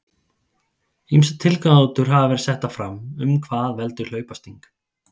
Ýmsar tilgátur hafa verið settar fram um hvað veldur hlaupasting.